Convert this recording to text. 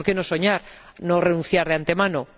¿Por qué no soñar y no renunciar de antemano?